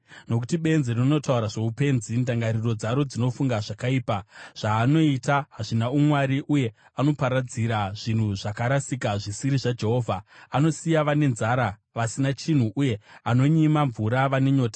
Nokuti benzi rinotaura zvoupenzi, ndangariro dzaro dzinofunga zvakaipa: Zvaanoita hazvina umwari uye anoparadzira zvinhu zvakarasika zvisiri zvaJehovha; anosiya vane nzara vasina chinhu uye anonyima mvura vane nyota.